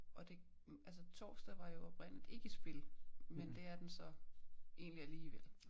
Og det altså torsdag var jo oprindeligt ikke i spil men det er den så egentlig alligevel